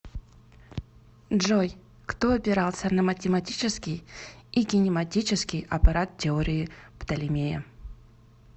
джой кто опирался на математический и кинематический аппарат теории птолемея